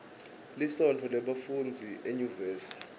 lisontfo lebafundzi enyuvesi